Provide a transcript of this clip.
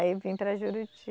Aí eu vim para Juruti.